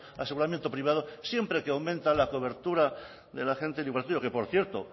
aseguramiento privado siempre que aumenta la cobertura de la gente que por cierto